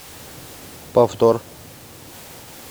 повтор